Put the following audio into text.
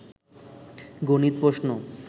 গনিত প্রশ্ন